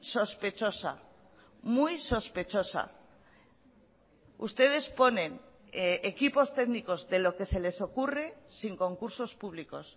sospechosa muy sospechosa ustedes ponen equipos técnicos de lo que se les ocurre sin concursos públicos